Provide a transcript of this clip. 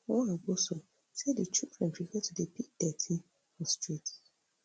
nwagboso say di children prefer to dey pick dirty for streets